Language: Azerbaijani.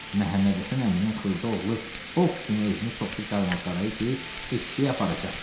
Məhəmməd Həsən əminin xırda oğlu ox kimi özünü soxdu karvansaraya ki, eşşəyi aparacam.